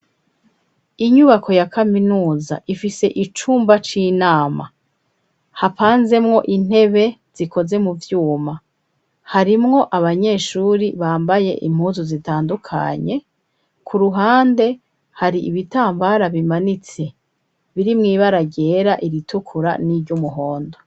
Inyubako ya kaminuza ifise icumba c'inama hapanzemwo intebe zikoze mu vyuma harimwo abanyeshuri bambaye impuzu zitandukanye ku ruhande hari ibitambara bimanitse biri mwibaragera iritukura n'iry'umuhondo.